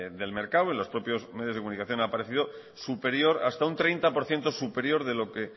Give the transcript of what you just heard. del mercado en los propios medios de comunicación ha aparecido superior hasta un treinta por ciento superior de lo que